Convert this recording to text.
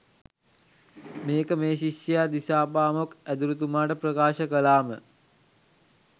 මේක මේ ශිෂ්‍යයා දිසාපාමොක් ඇදුරුතුමාට ප්‍රකාශ කළාම